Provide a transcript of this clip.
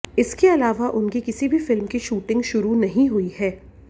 इसके अलावा उनकी किसी भी फिल्म की शूटिंग शुरू नहीं हुई है